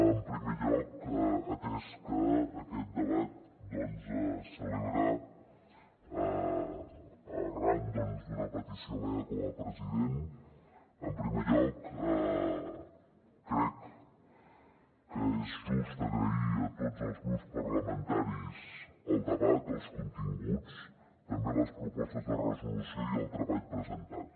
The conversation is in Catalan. en primer lloc atès que aquest debat es celebra arran doncs d’una petició meva com a president crec que és just agrair a tots els grups parlamentaris el debat els continguts també les propostes de resolució i el treball presentat